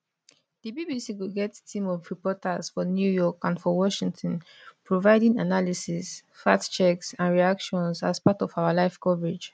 di bbc go get team of reporters for new york and for washington providing analysis fact checks and reactions as part of our live coverage